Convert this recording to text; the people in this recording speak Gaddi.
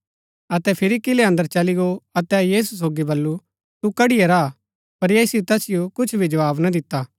अतै फिरी किलै अन्दर चली गो अतै यीशु सोगी बल्लू तू कड़ीया रा हा पर यीशुऐ तैसिओ कुछ भी जवाव ना दिता